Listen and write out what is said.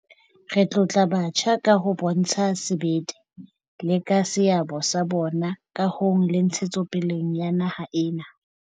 Re tlotla batjha ka ho bontsha sebete, le ka seabo sa bona kahong le ntshetsopeleng ya naha ena.